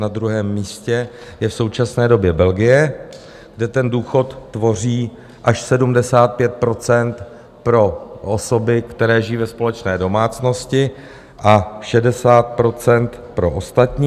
Na druhém místě je v současné době Belgie, kde ten důchod tvoří až 75 % pro osoby, které žijí ve společné domácnosti, a 60 % pro ostatní.